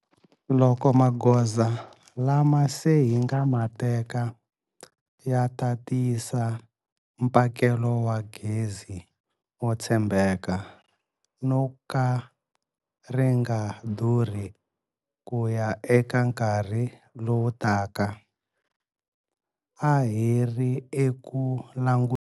Loko magoza lama se hi nga ma teka ya ta tiyisa mphakelo wa gezi wo tshembeka no ka ri nga durhi ku ya eka nkarhi lowu taka, a hi ri eku langu.